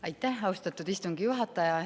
Aitäh, austatud istungi juhataja!